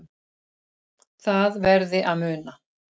Það verði að muna